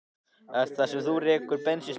Ert það þú sem rekur bensínstöðina?